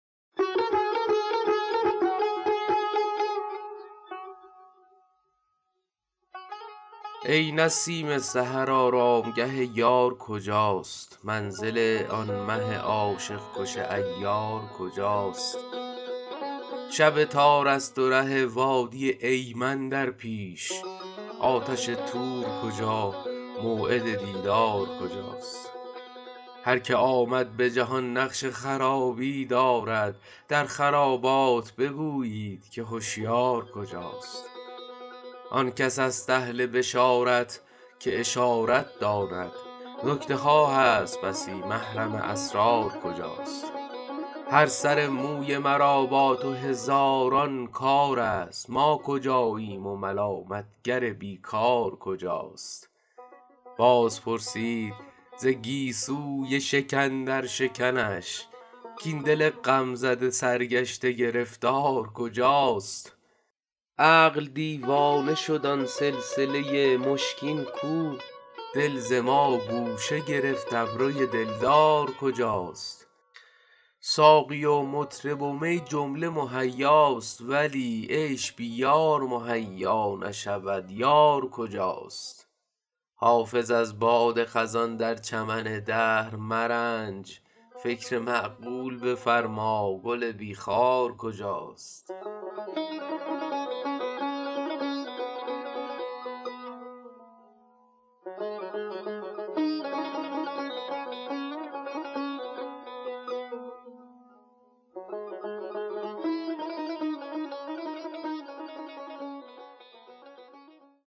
ای نسیم سحر آرامگه یار کجاست منزل آن مه عاشق کش عیار کجاست شب تار است و ره وادی ایمن در پیش آتش طور کجا موعد دیدار کجاست هر که آمد به جهان نقش خرابی دارد در خرابات بگویید که هشیار کجاست آن کس است اهل بشارت که اشارت داند نکته ها هست بسی محرم اسرار کجاست هر سر موی مرا با تو هزاران کار است ما کجاییم و ملامت گر بی کار کجاست باز پرسید ز گیسوی شکن در شکنش کاین دل غم زده سرگشته گرفتار کجاست عقل دیوانه شد آن سلسله مشکین کو دل ز ما گوشه گرفت ابروی دلدار کجاست ساقی و مطرب و می جمله مهیاست ولی عیش بی یار مهیا نشود یار کجاست حافظ از باد خزان در چمن دهر مرنج فکر معقول بفرما گل بی خار کجاست